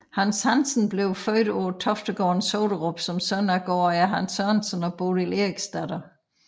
Hans Hansen blev født på Toftegården i Soderup som søn af gårdejer Hans Sørensen og Bodil Eriksdatter